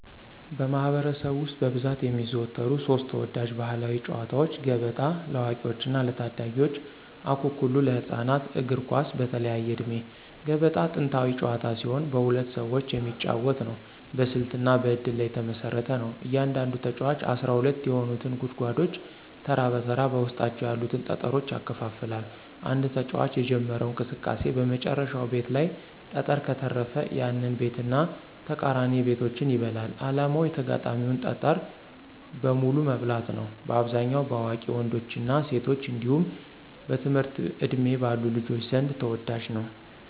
በማኅበረሰብ ውስጥ በብዛት የሚዘወተሩ ሦስት ተወዳጅ ባሕላዊ ጨዋታዎች፦ ገበጣ (ለአዋቂዎችና ለታዳጊዎች) ፣አኩኩሉ (ለህፃናት)፣ እግር ኳስ (በተለያየ ዕድሜ)። ገበጣ ጥንታዊ ጨዋታ ሲሆን በሁለት ሰዎች የሚጫወት ነው። በስልትና በእድል ላይ የተመሰረተ ነው። እያንዳንዱ ተጫዋች 12 የሆኑትን ጉድጓዶች ተራ በተራ በውስጣቸው ያሉትን ጠጠሮች ያከፋፍላል። አንድ ተጫዋች የጀመረው እንቅስቃሴ በመጨረሻው ቤት ላይ ጠጠር ከተረፈ፣ ያንን ቤትና ተቃራኒ ቤቶችን ይበላል። ዓላማው የተጋጣሚን ጠጠር በሙሉ መብላት ነው። በአብዛኛው በአዋቂ ወንዶችና ሴቶች እንዲሁም በትምህርት ዕድሜ ባሉ ልጆች ዘንድ ተወዳጅ ነው።